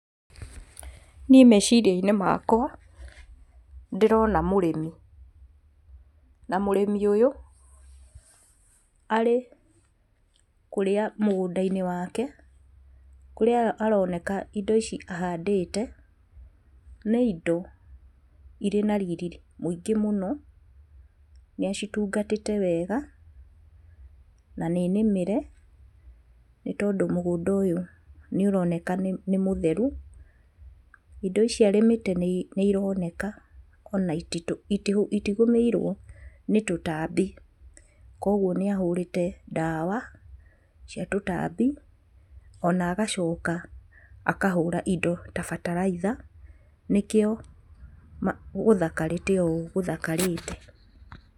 Niĩ meciria-inĩ makwa, ndĩrona mũrĩmi, na mũrĩmi ũyũ arĩ kũrĩa mũgũnda-inĩ wake, kũrĩa aroneka indo ici ahandĩte nĩ indo irĩ na riri mũingĩ mũno, nĩacitungatĩte wega na nĩnĩmĩre nĩtondũ mũgũnda ũyũ nĩũroneka nĩ mũtheru. Indo ici arĩmĩte nĩironeka ona itigũmĩirwo nĩ tũtambi, kuoguo nĩahũrĩte ndawa cia tũtambi, ona agacoka akahũra indo ta bataraitha nĩkĩo gũthakarĩte ũũ gũthakarĩte.